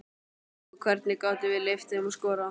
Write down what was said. Og hvernig gátum við leyft þeim að skora?